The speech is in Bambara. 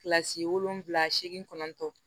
Kilasi wolonwula seegin kɔnɔntɔn